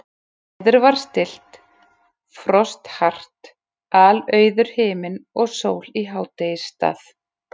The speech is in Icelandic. Veður var stillt, frost hart, alauður himinn og sól í hádegisstað.